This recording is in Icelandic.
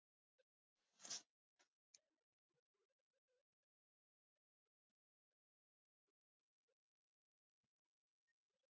Evgenía, pantaðu tíma í klippingu á fimmtudaginn.